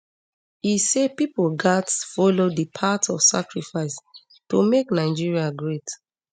e say pipo gatz follow di path of sacrifice to make nigeria great